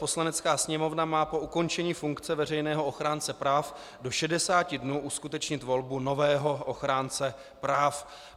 Poslanecká sněmovna má po ukončení funkce veřejného ochránce práv do 60 dnů uskutečnit volbu nového ochránce práv.